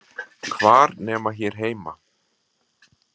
Hvar nema hér heima?